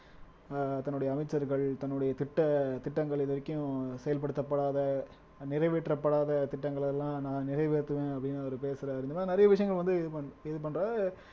அஹ் தன்னுடைய அமைச்சர்கள் தன்னுடைய திட்ட திட்டங்கள் இது வரைக்கும் செயல்படுத்தப்படாத நிறைவேற்றப்படாத திட்டங்களை எல்லாம் நான் நிறைவேற்றுவேன் அப்படின்னு அவர் பேசுறாரு இந்த மாறி நிறைய விஷயங்கள் வந்து இது பண் இது பண்றாரு